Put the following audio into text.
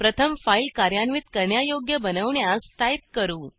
प्रथम फाईल कार्यान्वित करण्यायोग्य बनवण्यास टाईप करू